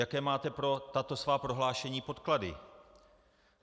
Jaké máte pro tato svá prohlášení podklady?